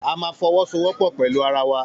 A máa fọwọ́ so wọ́pọ̀ pẹ̀lú ara wa